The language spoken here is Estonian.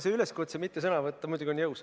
See üleskutse mitte sõna võtta on muidugi jõus.